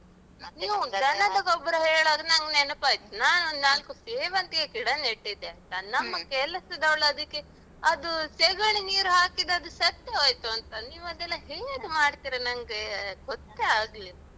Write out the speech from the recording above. ಹೇಳುವಾಗ ನನ್ಗ್ ನೆನಪಾಯ್ತು. ನಾನೊಂದ್ ನಾಲ್ಕು ಸೇವಂತಿಗೆ ಗಿಡ ನೆಟ್ಟಿದ್ದೆ ಆಯ್ತಾ. ನನ್ನಮ್ಮ ಕೆಲಸದವ್ಳ್ ಅದಿಕ್ಕೆ ಅದು ಸೆಗಣಿ ನೀರು ಹಾಕಿದ್ದದು ಸತ್ತು ಹೋಯ್ತು ಅಂತ. ನೀವದೆಲ್ಲ ಹೇಗ್ ಮಾಡ್ತೀರ ನಂಗೆ ಗೊತ್ತೇ ಆಗ್ಲಿಲ್ಲ.